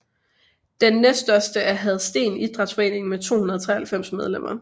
Den næststørste er Hadsten Idrætsforening med 293 medlemmer